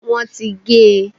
wọn ti gé e.